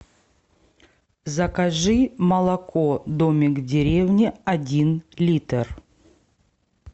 закажи молоко домик в деревне один литр